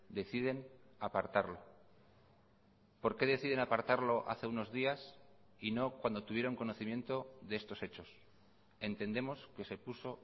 deciden apartarlo por qué deciden apartarlo hace unos días y no cuando tuvieron conocimiento de estos hechos entendemos que se puso